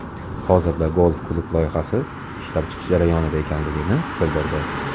Hozirda golf-klub loyihasi ishlab chiqish jarayonida ekanligini bildirdi.